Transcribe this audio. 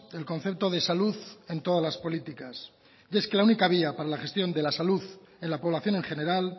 el concepto de salud en todas las políticas y es que la única vía para la gestión de la salud en la población en general